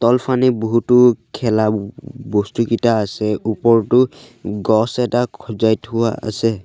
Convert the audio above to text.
তলফানে বহুতো খেলা ব বস্তুকিটা আছে ওপৰতো গছ এটা খজাই থোৱা আছে।